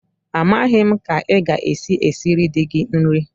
Amaghị m ka ị ga-esi esiri di gị nri!